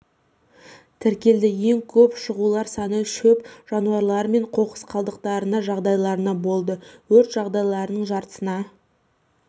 тіркелді ең көп шығулар саны шөп жанулары мен қоқыс қалдықтарына жағдайдарына болды өрт жағдайларының жартысына